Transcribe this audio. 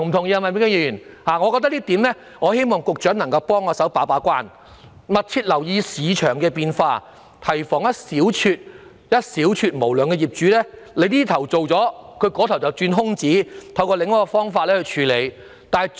因此，希望局長能替我們把關，密切留意市場變化，提防一小撮無良業主在政府這邊廂立法後，便在那邊廂鑽空子，另尋方法繼續牟取暴利。